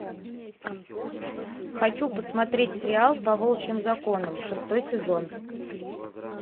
хочу посмотреть сериал по волчьим законам шестой сезон